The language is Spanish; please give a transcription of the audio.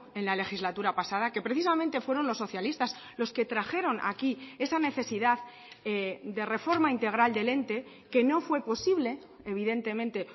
en la legislatura pasada que precisamente fueron los socialistas los que trajeron aquí esa necesidad de reforma integral del ente que no fue posible evidentemente